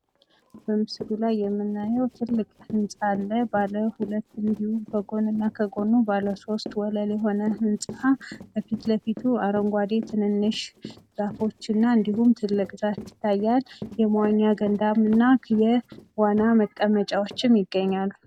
በምስሉ ላይ የምናየው ትልቅ ህንጻ አለ ባለሁለት እንድሁም ከጎንና ከጎን ባለሶስት ወለል የሆነ ህንጻ ከፊት ለፊቱ አረንጓዴ ትንንሽ ዛፎችና እንድሁም ትልቅ ዛፍ ይታያል። የመዋኛ ገንዳ እና የዋና መቀመጫዎችም ይገኛሉ።